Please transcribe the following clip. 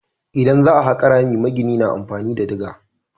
Idan za a haƙa rami magina na amfani da diga.